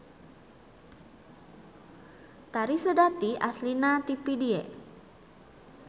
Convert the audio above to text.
Tari Seudati aslna ti Pidie.